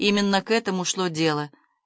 именно к этому шло дело